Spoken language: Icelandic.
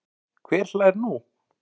Hver hlær nú?